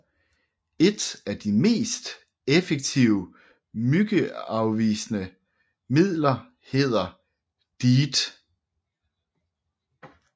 Et af de effektive myggeafvisende midler hedder DEET